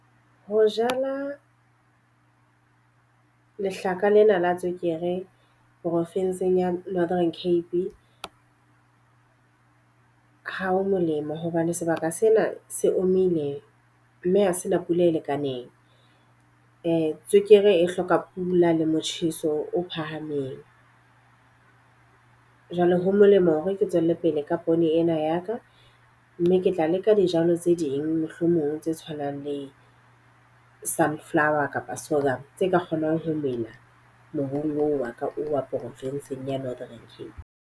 Ho jala lehlaka lena la tswekere porofenseng ya Northern Cape, ha ho molemo. Hobane sebaka sena se o mile mme ho sena pula e lekaneng. Tswekere e hloka pula le motjheso o phahameng. Jwale ho molemo hore ke tswellepele ka poone ena ya ka. Mme ke tla le ka dijalo tse ding mohlomong tse tshwanang le sunflower kapa , tse ka kgonang ho mela mobung oo wa ka o wa profinsing ya Northern Cape.